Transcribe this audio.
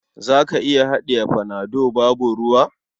Za ka iya haɗiye panado babu ruwa?